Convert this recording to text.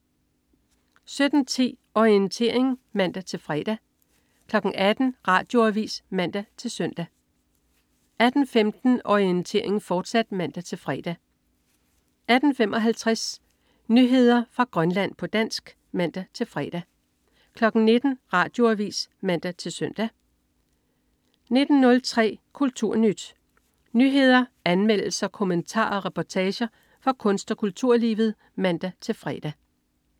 17.10 Orientering (man-fre) 18.00 Radioavis (man-søn) 18.15 Orientering, fortsat (man-fre) 18.55 Nyheder fra Grønland, på dansk (man-fre) 19.00 Radioavis (man-søn) 19.03 KulturNyt. Nyheder, anmeldelser, kommentarer og reportager fra kunst- og kulturlivet (man-fre)